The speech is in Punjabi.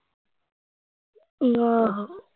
ਉ ਆਹੋ